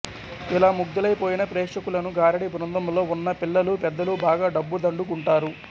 ఇలా ముగ్దులై పోయిన ప్రేక్షకులను గారడి బృందంలో వున్న పిల్లలూ పెద్దలూ బాగా డబ్బు దండు కుంటారు